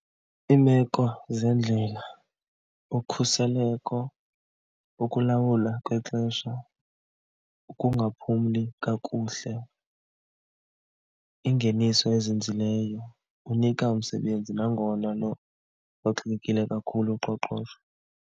Iimeko zendlela, ukhuseleko, ukulawula kwexesha, ukungaphumli kakuhle, ingeniso ezinzileyo, unika umsebenzi nangona luxakekile kakhulu uqoqosho.